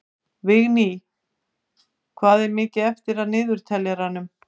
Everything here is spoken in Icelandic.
Vigný, hvað er mikið eftir af niðurteljaranum?